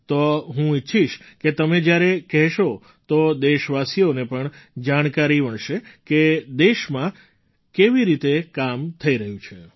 તો હું ઈચ્છીશ કે તમે જ્યારે કહેશો તો દેશવાસીઓને પણ જાણકારી મળશે કે દેશમાં કેવી રીતે કામ થઈ રહ્યું છે